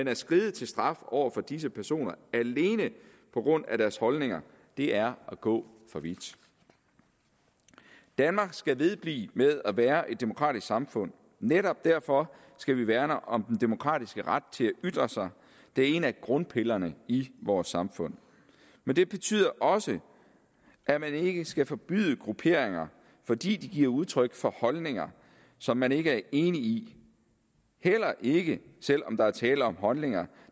at skride til straf over for disse personer alene på grund af deres holdninger er at gå for vidt danmark skal vedblive med at være et demokratisk samfund og netop derfor skal vi værne om den demokratiske ret til at ytre sig det er en af grundpillerne i vores samfund men det betyder også at man ikke skal forbyde grupperinger fordi de giver udtryk for holdninger som man ikke er enig i heller ikke selv om der er tale om holdninger